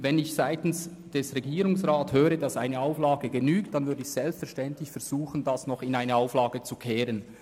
Wenn ich seitens des Regierungsrats höre, dass eine Auflage genügt, dann würde ich selbstverständlich versuchen, dies noch in eine Auflage zu ändern.